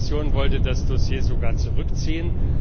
Die Kommission wollte das Dossier sogar zurückziehen.